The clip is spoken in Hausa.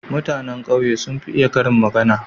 Mutane ƙauye sun fi iya karin magana.